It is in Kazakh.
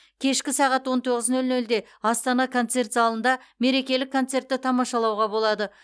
кешкі сағат он тоғыз нөл нөлде астана концерт залында мерекелік концертті тамашалауға болады